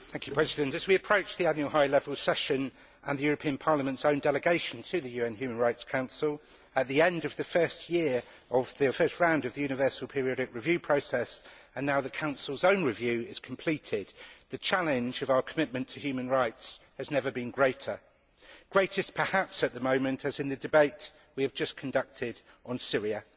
Mr President, as we approach the annual high level session and the European Parliament's own delegation to the UN Human Rights Council at the end of the first round of the Universal Periodic Review process, and now that the Council's own review is completed, the challenge of our commitment to human rights has never been greater greatest perhaps at the moment as in the debate we have just conducted on Syria.